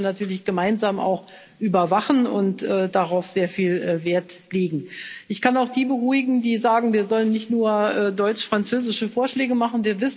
Das werden wir natürlich auch gemeinsam überwachen und darauf sehr viel Wert legen. Ich kann auch die beruhigen, die sagen, wir sollen nicht nur deutsch-französische Vorschläge machen.